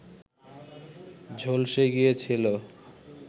ঝলসে গিয়েছিল